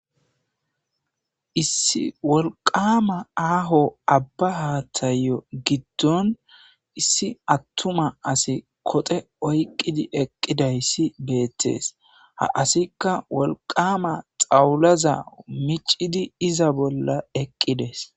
Issi wolqama aaho abba haathayo giddon issi attuma asi koxe oyqqidi eqqidayssi beettees ha asikka wolqama xawulaza micidi iza bolla eqqides.